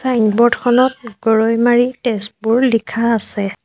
Signboard খনত গৰৈমাৰী তেজপুৰ লিখা আছে।